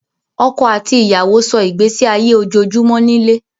Ọkọ̀ àti ìyàwó sọ́ ìgbésí ayé ojoojúmọ́ nílé